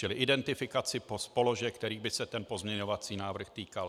Čili identifikaci položek, kterých by se ten pozměňovací návrh týkal.